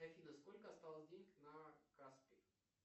афина сколько осталось денег на каспи